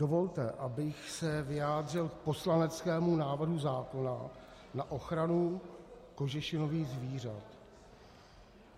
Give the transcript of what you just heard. Dovolte, abych se vyjádřil k poslaneckému návrhu zákona na ochranu kožešinových zvířat.